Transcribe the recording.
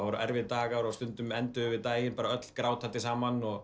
voru erfiðir dagar og stundum enduðum við öll grátandi saman og